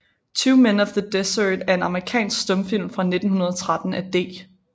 Two Men of the Desert er en amerikansk stumfilm fra 1913 af D